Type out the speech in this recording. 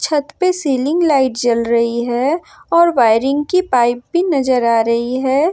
छत पे ceiling light जल रही है और वायरिंग की पाइप भी नजर आ रही है।